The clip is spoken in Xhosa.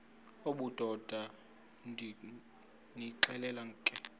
obudoda ndonixelela ke